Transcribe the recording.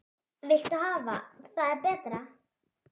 Hvað viltu hafa það betra?